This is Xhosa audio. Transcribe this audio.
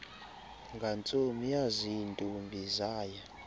ngantsomi yaziintombi zaya